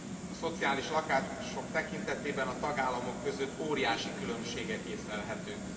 A szociális lakások tekintetében a tagállamok között óriási különbségek észlelhetők.